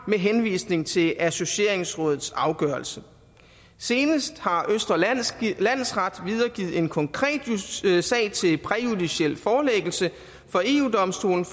med henvisning til associeringsrådets afgørelse senest har østre landsret videregivet en konkret sag til præjudiciel forelæggelse for eu domstolen